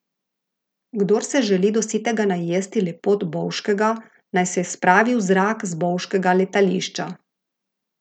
Kdor se želi do sitega najesti lepot Bovškega, naj se spravi v zrak z bovškega letališča.